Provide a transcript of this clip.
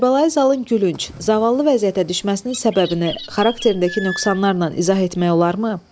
Kərbəlayi Zalın gülünc, zavallı vəziyyətə düşməsinin səbəbini xarakterindəki nöqsanlarla izah etmək olarmı?